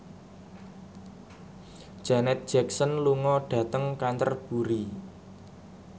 Janet Jackson lunga dhateng Canterbury